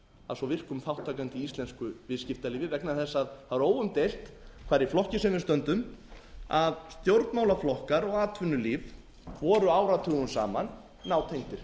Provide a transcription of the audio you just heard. að svo virkum þátttakanda í íslensku viðskiptalífi vegna þess að það er óumdeilt hvar í flokki sem við stöndum að stjórnmálaflokkar og atvinnulíf voru áratugum saman nátengd